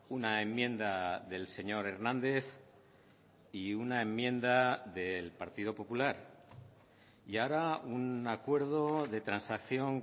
una enmienda del señor hernández y una enmienda del partido popular y ahora un acuerdo de transacción